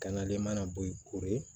Ka na de mana bɔ yen koro